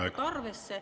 Teie aeg!